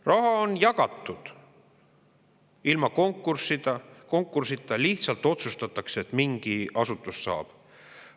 Paljudel juhtudel on raha jagatud ilma konkursita, lihtsalt otsustatakse, et mingi asutus saab.